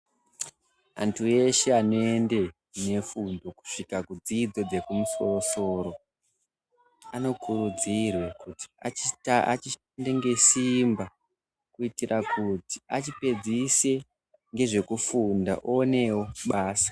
Antu eshe anoende nefundo kusvika kudzidzo dzekumusorosoro anokurudzirwe kuti ashande ngesimba kuitira kuti achipedzise ngezvekufunda awonewo pasa.